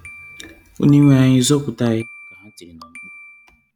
"Onyenweanyị, zọpụta anyị,” ka ha tiri na mkpu.